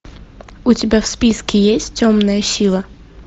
у тебя в списке есть темная сила